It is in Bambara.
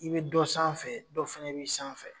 I bɛ dɔ sanfɛ dɔ fana b'i sanfɛ.